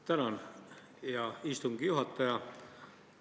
Tänan, hea istungi juhataja!